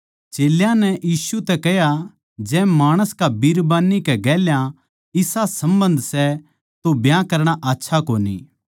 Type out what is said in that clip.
चेल्यां नै यीशु तै कह्या जै माणस का बिरबान्नी कै गेल्या इसा सम्बन्ध सै तो ब्याह करणा आच्छा कोनी